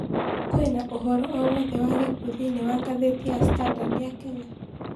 kwĩnaũhoro o wothe wa gĩkũũ thĩĩnĩ wa gathiti standard ya kenya